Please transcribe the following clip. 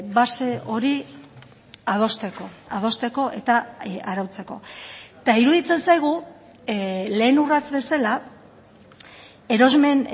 base hori adosteko adosteko eta arautzeko eta iruditzen zaigu lehen urrats bezala erosmen